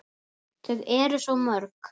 Þau eru svo mörg.